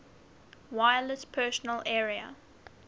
wireless personal area